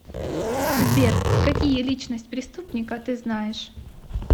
сбер какие личность преступника ты знаешь